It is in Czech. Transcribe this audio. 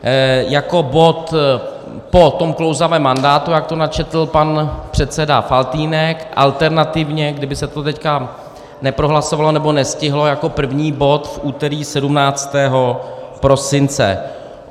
Jako bod po tom klouzavém mandátu, jak to načetl pan předseda Faltýnek, alternativně, kdyby se to teď neprohlasovalo nebo nestihlo, jako první bod v úterý 17. prosince.